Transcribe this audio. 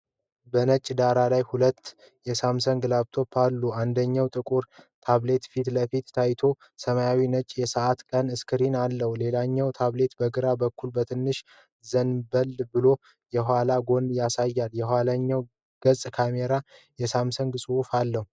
በነጭ ዳራ ላይ ሁለት የሳምሰንግ ታብሌቶች አሉ። አንደኛው ጥቁር ታብሌት ፊት ለፊት ታይቶ ሰማያዊና ነጭ የሰዓትና ቀን ስክሪን አለው። ሌላኛው ታብሌት በግራ በኩል በትንሹ ዘንበል ብሎ የኋላውን ጎን ያሳያል። የኋለኛው ገጽ ካሜራና የሳምሰንግ ጽሑፍ አለው።